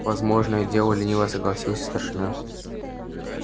возможное дело лениво согласился старшина